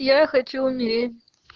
я хочу умереть